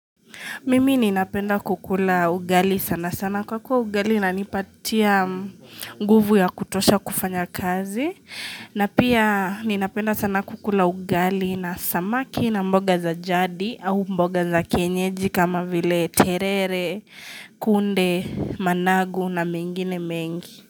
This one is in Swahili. Mimi ninapenda kukula ugali sana sana kwa kuwa ugali inanipatia nguvu ya kutosha kufanya kazi. Na pia ninapenda sana kukula ugali na samaki na mboga za jadi au mboga za kienyeji kama vile terere, kunde, managu na mingine mengi.